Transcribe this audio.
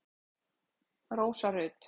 Rósa Rut.